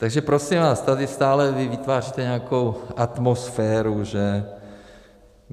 Takže prosím vás, tady stále vy vytváříte nějakou atmosféru, že...